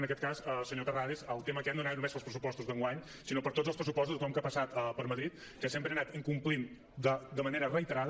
en aquest cas senyor terrades el tema aquest no anava no·més pels pressupostos d’enguany sinó per tots els pressupostos de tothom que ha passat per madrid que sempre han anat incomplint de manera reiterada